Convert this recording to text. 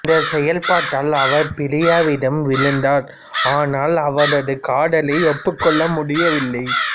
இந்த செயல்பாட்டில் அவர் பிரியாவிடம் விழுந்தார் ஆனால் அவரது காதலை ஒப்புக்கொள்ள முடியவில்லை